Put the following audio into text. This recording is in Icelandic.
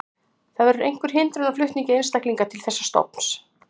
Það verður einhver hindrun á flutningi einstaklinga til þessa stofns.